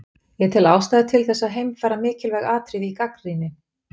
Ég tel ástæðu til þess að heimfæra mikilvæg atriði í gagnrýni